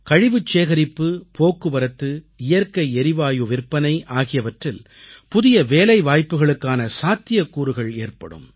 கழிவுச்சேகரிப்பு போக்குவரத்து இயற்கை எரிவாயு விற்பனை ஆகியவற்றில் புதிய வேலைவாய்ப்புகளுக்கான சாத்தியக்கூறுகள் ஏற்படும்